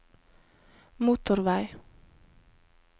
motorvei